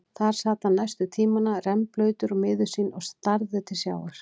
Þar sat hann næstu tímana, rennblautur og miður sín og starði til sjávar.